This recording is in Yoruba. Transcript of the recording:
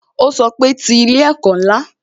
Ó sọ pé "Ti ilé ẹ̀kọ́ ńlá"